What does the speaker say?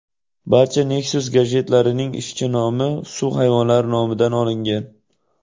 Barcha Nexus gadjetlarining ishchi nomi suv hayvonlari nomidan olingan.